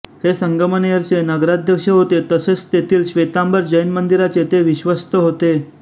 हे संगमनेरचे नगराध्यक्ष होते तसेच तेथील श्वेतांबर जैन मंदिराचे ते विश्वस्त होते